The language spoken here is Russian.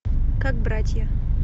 как братья